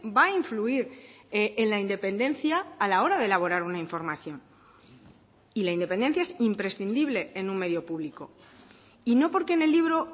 va a influir en la independencia a la hora de elaborar una información y la independencia es imprescindible en un medio público y no porque en el libro